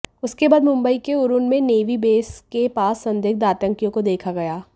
उसके बाद मुंबई के उरण में नेवी बेस के पास संदिग्ध आतंकियों को देखा गया